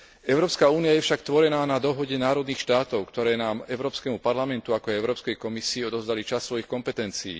Európska únia je však tvorená na dohode národných štátov, ktoré nám Európskemu parlamentu, ako aj Európskej komisii odovzdali časť svojich kompetencií.